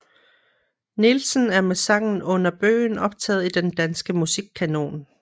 Nielsen er med sangen Under Bøgen optaget i den danske musikkanon